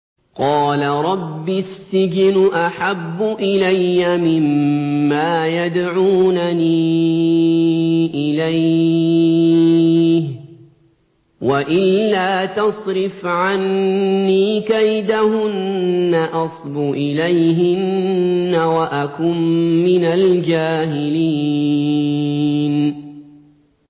قَالَ رَبِّ السِّجْنُ أَحَبُّ إِلَيَّ مِمَّا يَدْعُونَنِي إِلَيْهِ ۖ وَإِلَّا تَصْرِفْ عَنِّي كَيْدَهُنَّ أَصْبُ إِلَيْهِنَّ وَأَكُن مِّنَ الْجَاهِلِينَ